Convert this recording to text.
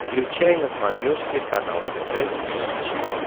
включай на смотрешке канал тв три эйч ди